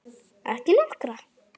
Ekki nokkra.